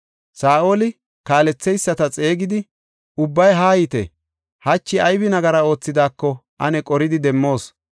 Saa7oli, “Kaaletheyisata xeegidi, ubbay haayite; hachi ayba nagari oosetidaako ane qoridi demmoos.